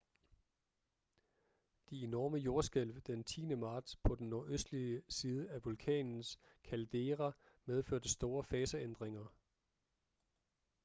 de enorme jordskælv den 10. marts på den nordøstlige side af vulkanens caldera medførte store faseændringer